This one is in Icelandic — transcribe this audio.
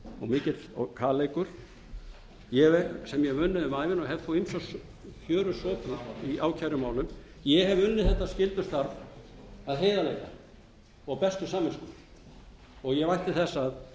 í og kaleikur sem ég hef unnið um ævina og hef þó koma fjöru sopið í ákærumálum ég hef unnið þetta skyldustarf af heiðarleika og bestu samvisku og ég vænti þess